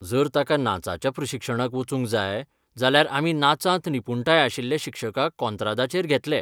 जर ताका नाचाच्या प्रशिक्षणाक वचूंक जाय जाल्यार आमी नाचांत निपूणटाय आशिल्ले शिक्षकाक कोंत्रादाचेर घेतले.